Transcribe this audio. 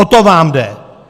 O to vám jde!